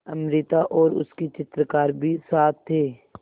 अमृता और उसके चित्रकार भी साथ थे